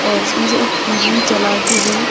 और इसमें से एक टी_वी चला के हैं।